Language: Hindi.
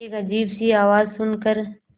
एक अजीब सी आवाज़ सुन कर